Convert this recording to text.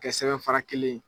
kɛ sɛbɛn fara kelen ye.